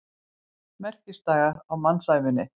Merkisdagar á mannsævinni.